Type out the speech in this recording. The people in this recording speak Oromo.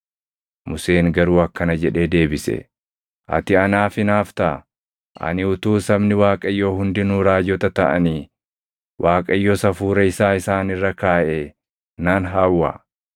Museen garuu akkana jedhee deebise; “Ati anaaf hinaaftaa? Ani utuu sabni Waaqayyoo hundinuu raajota taʼanii Waaqayyos Hafuura isaa isaan irra kaaʼee nan hawwa!”